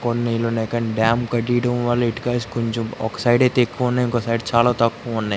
కొన్ని నీళ్లు ఉన్నాయి కానీ డ్యామ్ కట్టేయడం వల్ల ఇటుకాసి ఒక సైడ్ అయితే ఎక్కువనే ఇంకో సైడ్ అయితే చాలా తక్కువ ఉన్నాయి.